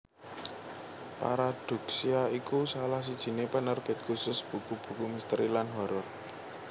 Paradoksya iku salah sijiné penerbit khusus buku buku misteri lan horor